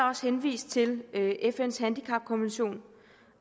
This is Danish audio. også henvist til fns handicapkonvention